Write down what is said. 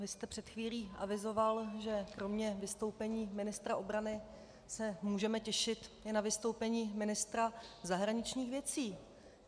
Vy jste před chvílí avizoval, že kromě vystoupení ministra obrany se můžeme těšit i na vystoupení ministra zahraničních věcí.